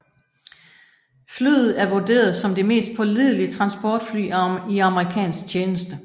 Flyet er vurderet som det mest pålidelige transportfly i amerikansk tjeneste